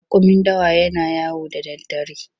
Raƙumin dawa yana yawo da daddare.